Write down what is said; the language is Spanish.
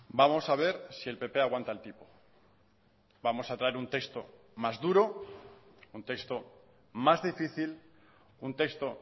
vamos a ver si el pp aguanta el tipo vamos a traer un texto más duro un texto más difícil un texto